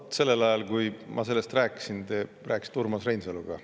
Vaat, sellel ajal, kui ma sellest rääkisin, te rääkisite Urmas Reinsaluga.